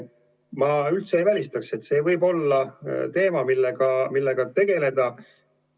Ma üldse ei välistaks, et see võib olla teema, millega tegeleda.